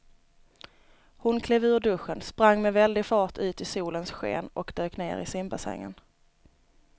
Hon klev ur duschen, sprang med väldig fart ut i solens sken och dök ner i simbassängen.